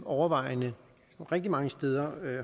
overvejende rigtig mange steder